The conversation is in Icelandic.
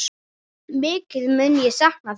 Mikið mun ég sakna þín.